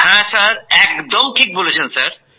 হ্যাঁ স্যার একদম ঠিক বলেছেন স্যার